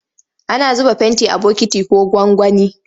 Ana zuba fenti a bokiti ko gwangwani.